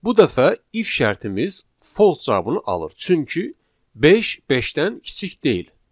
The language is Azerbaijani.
Bu dəfə if şərtimiz false cavabını alır, çünki beş beşdən kiçik deyil.